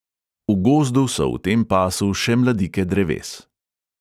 V gozdu so v tem pasu še mladike dreves.